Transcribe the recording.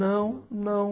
Não, não.